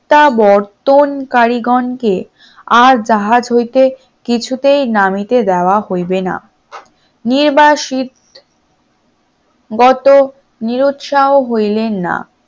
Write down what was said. প্রত্যাবর্তন কারীগণকে আর জাহাজ হইতে কিছুতেই নামিতে দেওয়া হইবে না, নির্বাসিত গত নিরুৎসাহ হইলেন না